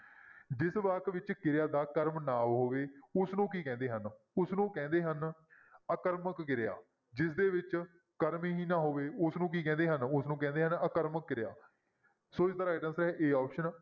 ਜਿਸ ਵਾਕ ਵਿੱਚ ਕਿਰਿਆ ਦਾ ਕਰਮ ਨਾ ਹੋਵੇ ਉਸਨੂੰ ਕੀ ਕਹਿੰਦੇ ਹਨ, ਉਸਨੂੰ ਕਹਿੰਦੇ ਹਨ ਅਕਰਮਕ ਕਿਰਿਆ ਜਿਸਦੇ ਵਿੱਚ ਕਰਮ ਹੀ ਨਾ ਹੋਵੇ ਉਸਨੂੰ ਕੀ ਕਹਿੰਦੇ ਹਨ? ਉਸਨੂੰ ਕਹਿੰਦੇ ਹਨ ਆਕਰਮਕ ਕਿਰਿਆ, ਸੋ ਇਸਦਾ right answer ਹੈ a option